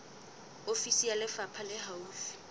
ofisi ya lefapha le haufi